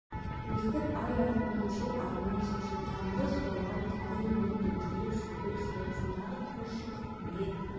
өстіп ай артынан жыл артынан жылжып тамыры суалған кәрі емен еңкейіп шөгіп саясындағы қос шыбық күнге